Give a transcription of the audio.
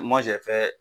fɛ